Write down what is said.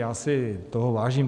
Já si toho vážím.